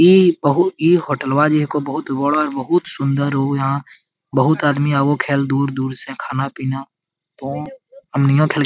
इ बहु इ होटलवा जे हेको बहुत बड़ा बहुत सुंदर हो यहाँ बहुत आदमी आवो खेल दूर-दूर से खाना पीना तो अमनिया खेल --